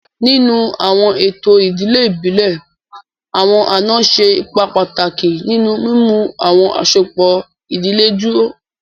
Ninu awọn eto idile ibile, awọn ana ṣe ipa pataki ninu mimu awọn asopọ idile duro.